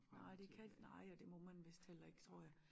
Nej det kan nej og det må man vist heller ikke tror jeg